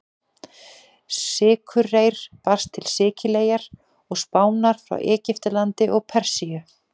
Sykurreyr barst til Sikileyjar og Spánar frá Egyptalandi og Persíu.